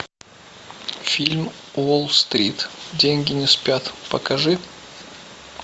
фильм уолл стрит деньги не спят покажи